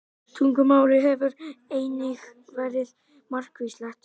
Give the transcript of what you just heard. Tungumálið hefur einnig verið margvíslegt.